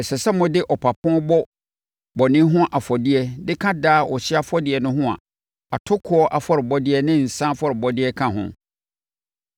Ɛsɛ sɛ mode ɔpapo bɔ bɔne ho afɔdeɛ de ka daa ɔhyeɛ afɔrebɔ no ho a atokoɔ afɔrebɔdeɛ ne nsã afɔrebɔdeɛ ka ho.